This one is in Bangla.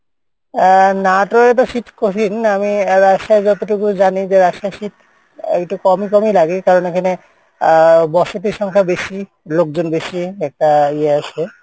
আহ এ তো শীত কঠিন আমি রাজশাহী যতটুকু জানি যে রাজশাহীর শীত আহ একটু কমই কমই লাগে কারন এখানে আহ বসতি সংখ্যা বেশি লোকজন বেশি একটা ইয়ে আছে